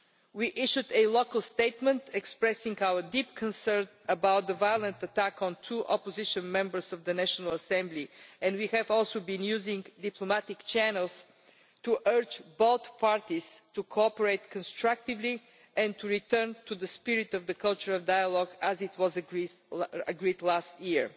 We issued a local statement expressing our deep concern about the violent attack on two opposition members of the National Assembly, and we have also been using diplomatic channels to urge both parties to cooperate constructively and to return to the spirit of the culture of dialogue, as was agreed last year.